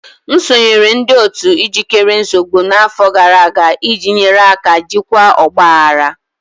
M sonyeere ndị otu ijikere nsogbu n'afọ gara aga iji nyere aka jikwaa ọgba aghara.